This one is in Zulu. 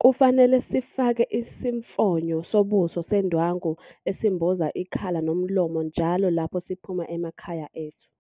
Kufanele sifake isimfonyo sobuso sendwangu esimboza ikhala nomlomo njalo lapho siphuma emakhaya ethu.